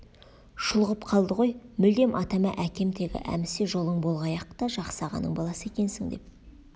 шұлғып қалды ғой мүлдем атама әкем тегі әмісе жолың болғай-ақ та жақсы ағаның баласы екенсің деп